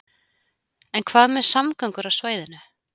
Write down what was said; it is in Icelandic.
En hvað með samgöngur á svæðinu?